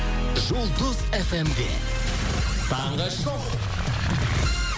жұлдыз эф эм де таңғы шоу